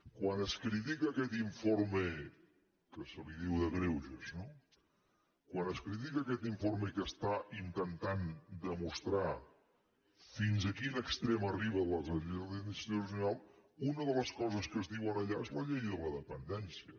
quan es critica aquest informe que se li diu de greuges no quan es critica aquest informe que intenta demostrar fins a quin extrem arriba la deslleialtat institucional una de les coses que es diuen allà és la llei de la dependència